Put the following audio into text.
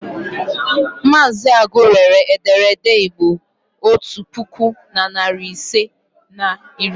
Mazị Agu rere ederede Igbo otu puku na narị ise na iri ise.